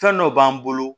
Fɛn dɔ b'an bolo